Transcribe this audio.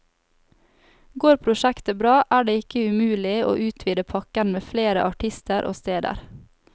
Går prosjektet bra, er det ikke umulig å utvide pakken med flere artister og steder.